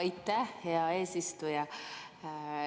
Aitäh, hea eesistuja!